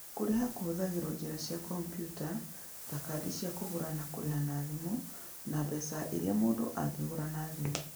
Kũrĩha kũhũthagĩrũo njĩra cia kompiuta ta kadi cia kũgũra na kũrĩha na thimũ, na mbeca iria mũndũ angĩgũra na thimũ.